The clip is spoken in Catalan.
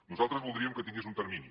nosaltres voldríem que tingués un termini